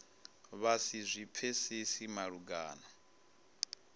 vha si zwi pfesese malugana